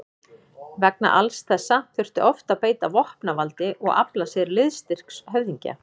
Vegna alls þessa þurfti oft að beita vopnavaldi og afla sér liðstyrks höfðingja.